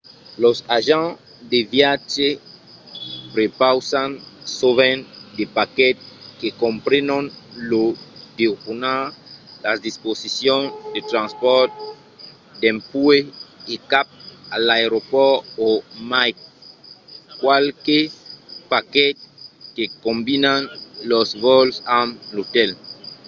los agents de viatge prepausan sovent de paquets que comprenon lo dejunar las disposicions de transpòrt dempuèi e cap a l’aeropòrt o mai qualques paquets que combinan los vòls amb l’otèl